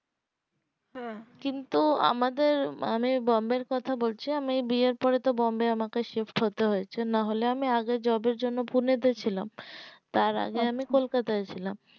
হ্যাঁ কিন্তু আমাদের মানে বোম্বে এর কথা বলছি আমি বিয়ের পরে তো বোম্বে shift হতে হয়েছে না হলে আমি আগে job এর জন্য পুনে তে ছিলাম তার আগে আমি কলকাতায় ছিলাম